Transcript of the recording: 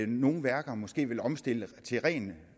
nogle værker måske vil omstille til ren